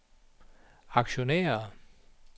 aktionærer